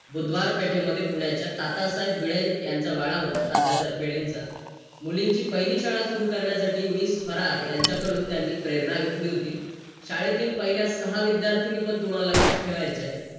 किंवा मला भावा मग ठेवायचे जास्त काय काम असले ना फक्त पाच मिनिट त्यामुळे मग मला गाडी खूप उपयोगी ठरली मला पहिलं पासून इच्छा होती की मला गाडी पाहिजे गाडी पाहिजे गाडी पाहिजे